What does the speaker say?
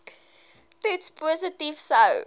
toets positief sou